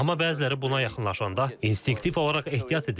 Amma bəziləri buna yaxınlaşanda instinktiv olaraq ehtiyat edirlər.